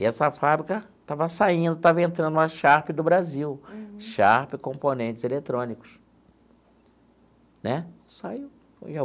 E essa fábrica estava saindo, estava entrando uma Sharp do Brasil, Sharp Componentes Eletrônicos né saiu.